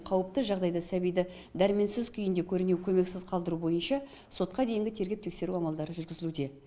қауіпті жағдайда сәбиді дәрменсіз күйінде көрінеу көмексіз қалдыру бойынша сотқа дейінгі тергеп тексеру амалдары жүргізілуде